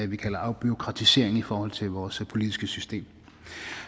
vi kalder afbureaukratisering i forhold til vores politiske system